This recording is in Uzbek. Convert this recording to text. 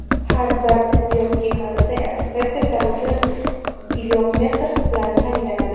Har bir tibbiyot brigadasi ekspress-testlar o‘tkazish uchun glyukometr bilan ta’minlanadi.